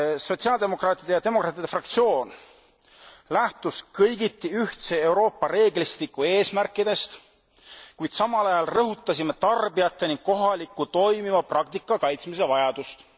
Sotsiaaldemokraatide ja demokraatide fraktsioon lähtus kõigiti ühtse Euroopa reeglistiku eesmärkidest, kuid samal ajal rõhutasime tarbijateni ulatuva kohaliku toimiva praktika kaitsmise vajadust.